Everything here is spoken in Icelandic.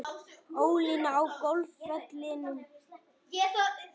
Ólína á golfvellinum.